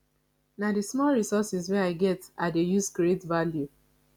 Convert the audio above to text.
na di small resources wey i get i dey use create value